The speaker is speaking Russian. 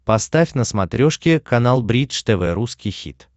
поставь на смотрешке канал бридж тв русский хит